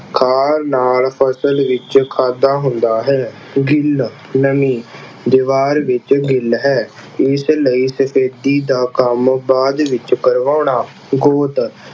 ਖਾਣ ਨਾਲ ਫਸਲ ਵਿੱਚ ਖਾਦਾ ਹੁੰਦਾ ਹੈ। ਗਿੱਲ ਨਮੀ ਦੀਵਾਰ ਵਿੱਚ ਗਿੱਲ ਹੈ। ਇਸ ਲਈ ਸਫ਼ੇਦੀ ਦਾ ਕੰਮ ਬਾਅਦ ਵਿੱਚ ਕਰਵਾਉਣਾ। ਗੋਤ